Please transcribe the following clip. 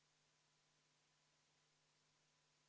Isamaa fraktsiooni muudatusettepanekute tutvustamiseks sai sõna Jaanus Karilaid.